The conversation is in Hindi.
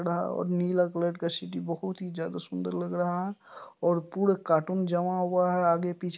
और नीला कलर का स्कूटी बहुत ही ज्यादा सुन्दर लग रहा है और पूरे कार्टून जमा हुआ है आगे पीछे----